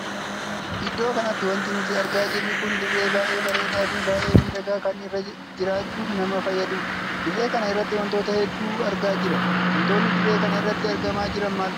Iddoo kanatti wanti nuti argaa jirru kun dirree baay'ee bareedaa fi baay'ee miidhagaa kan irra jiraachuuf nama fayyaduudha. dirree kan irratti wantoota hedduu argaa jira. wantootni dirree kana irratti argamaa jiran maalfaadha?